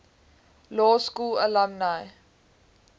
law school alumni